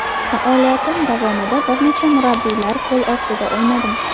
Faoliyatim davomida bir necha murabbiylar qo‘l ostida o‘ynadim.